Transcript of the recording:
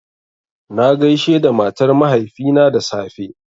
Na gaishe da matar mahaifina da safe